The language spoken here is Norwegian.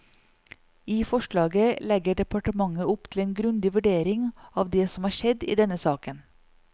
I forslaget legger departementet opp til en grundig vurdering av det som har skjedd i denne saken.